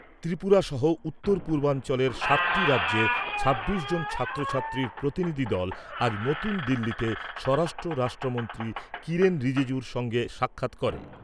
ত্রিপুরা সহ উত্তর পূর্বাঞ্চলের সাতটি রাজ্যের ছাব্বিশ জন ছাত্রছাত্রীর প্রতিনিধিদল আজ নতুন দিল্লিতে স্বরাষ্ট্র রাষ্ট্রমন্ত্রী কিরেন রিজিজুর সঙ্গে সাক্ষাৎ করে।